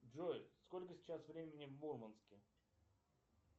джой сколько сейчас времени в мурманске